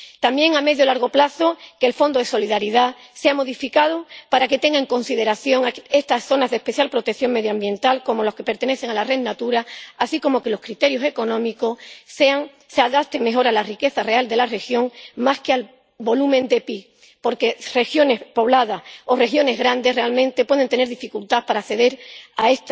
También, a medio y largo plazo, que el Fondo de Solidaridad sea modificado para que tenga en consideración estas zonas de especial protección medioambiental, como las que pertenecen a la Red Natura, así como que los criterios económicos se adapten mejor a la riqueza real de la región más que al volumen del PIB, porque regiones pobladas o regiones grandes realmente pueden tener dificultad para acceder a